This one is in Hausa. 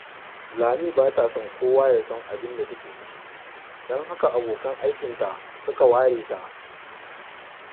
Lami ba ta so kowa ya san abin da take ciki, don haka abokan aikinta suka ware ta